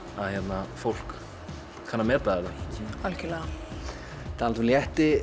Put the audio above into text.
að fólk kann að meta þetta algjörlega talandi um létti